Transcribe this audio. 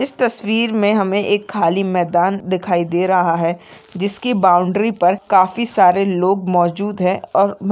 इस तस्वीर मे हमे एक खाली मैदान दिखाई दे रहा है जिसकी बाउंड्री पर काफी सारे लोग मौजूद है और--